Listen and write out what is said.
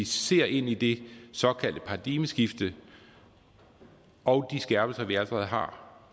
ser ind i det såkaldte paradigmeskift og de skærpelser vi allerede har